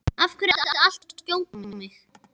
Af hverju ertu alltaf að skjóta á mig?